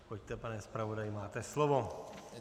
Pojďte, pane zpravodaji, máte slovo.